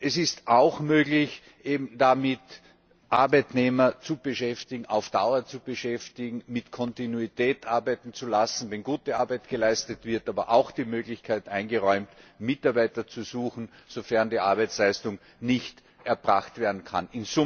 Es ist auch möglich, damit Arbeitnehmer auf Dauer zu beschäftigen, mit Kontinuität arbeiten zu lassen, wenn gute Arbeit geleistet wird, es wird aber auch die Möglichkeit eingeräumt, Mitarbeiter zu suchen, sofern die Arbeitsleistung nicht erbracht werden kann.